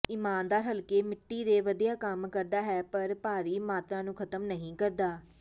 ਇਮਾਨਦਾਰ ਹਲਕੇ ਮਿੱਟੀ ਤੇ ਵਧੀਆ ਕੰਮ ਕਰਦਾ ਹੈ ਪਰ ਭਾਰੀ ਮਾਤਰਾ ਨੂੰ ਖਤਮ ਨਹੀਂ ਕਰਦਾ